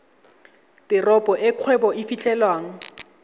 teropo e kgwebo e fitlhelwang